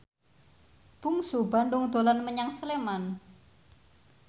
Bungsu Bandung dolan menyang Sleman